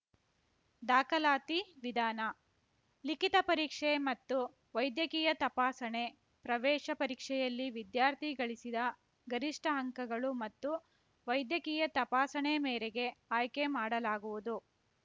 ದಾಖಲಾತಿ ವಿಧಾನ ಲಿಖಿತ ಪರೀಕ್ಷೆ ಮತ್ತು ವೈದ್ಯಕೀಯ ತಪಾಸಣೆ ಪ್ರವೇಶ ಪರೀಕ್ಷೆಯಲ್ಲಿ ವಿದ್ಯಾರ್ಥಿ ಗಳಿಸಿದ ಗರಿಷ್ಠ ಅಂಕಗಳು ಮತ್ತು ವೈದ್ಯಕೀಯ ತಪಾಸಣೆ ಮೇರೆಗೆ ಆಯ್ಕೆ ಮಾಡಲಾಗುವುದು